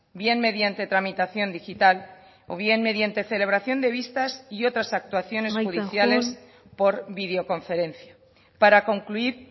bien mediante tramitación digital o bien mediante celebración de vistas y otras actuaciones judiciales por videoconferencia para concluir